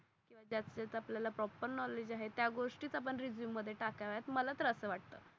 ज्याच ज्याच आपल्या ला प्रॉपर नॉलेज आहे त्या गोष्ठी आपण रेझूमे मध्ये टाकाव्यात मला तर अस वाटत.